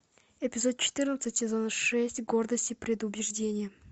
эпизод четырнадцать сезон шесть гордость и предубеждение